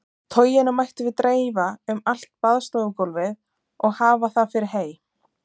Toginu mættum við dreifa um allt baðstofugólfið og hafa það fyrir hey.